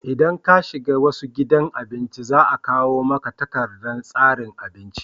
in ka shiga wasu gidan abinci za a kawo maka takardar tsarin abinci